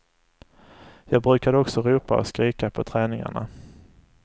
Jag brukade också ropa och skrika på träningarna.